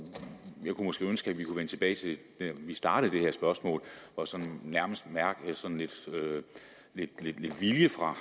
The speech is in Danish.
kunne måske ønske vi kunne vende tilbage til da vi startede det her spørgsmål og sådan nærmest mærkede sådan lidt vilje fra